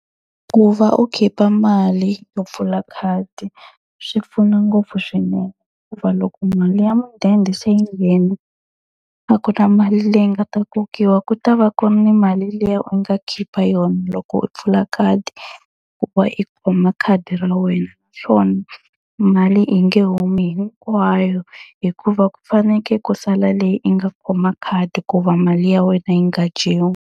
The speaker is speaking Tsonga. Ku va u khipha mali yo pfula khadi swi pfuna ngopfu swinene. Hikuva loko mali ya mudende se yi nghena a ku na mali leyi nga ta kokiwa ku ta va ku ri ni mali liya u nga khipa yona loko u pfula khadi ku va i kuma khadi ra wena. Naswona mali yi nge humi hinkwayo hikuva ku fanekele ku sala leyi yi nga khoma khadi ku va mali ya wena yi nga dyiwi.